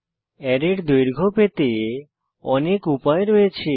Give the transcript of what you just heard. অ্যারের দৈর্ঘ্য পেতে অনেক উপায় রয়েছে